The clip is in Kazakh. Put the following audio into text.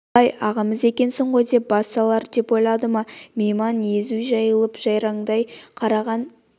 ойбай ағамыз екенсіз ғой деп бас салар деп ойлады ма мейман езу жайылып жайраңдай қараған